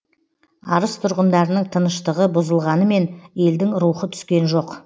арыс тұрғындарының тыныштығы бұзылғанымен елдің рухы түскен жоқ